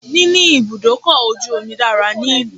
Níní ibùdókọ̀ ojù omi dára ní ìlú.